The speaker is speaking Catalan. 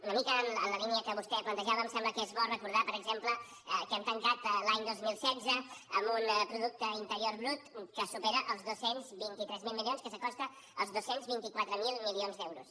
una mica en la línia que vostè plantejava em sembla que és bo recordar per exemple que hem tancat l’any dos mil setze amb un producte interior brut que supera els dos cents i vint tres mil milions que s’acosta als dos cents i vint quatre mil milions d’euros